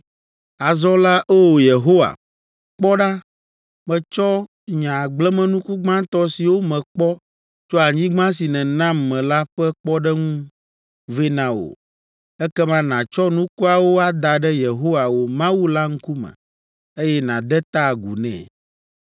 Azɔ la, O! Yehowa, kpɔ ɖa, metsɔ nye agblemenuku gbãtɔ siwo mekpɔ tso anyigba si nènam me la ƒe kpɔɖeŋu vɛ na wò.’ Ekema nàtsɔ nukuawo ada ɖe Yehowa, wò Mawu la ŋkume, eye nàde ta agu nɛ.